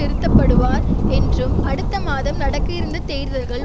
இருத்தப்படுவார் என்றும் அடுத்த மாதம் நடக்க இருந்த தேர்தல்கள்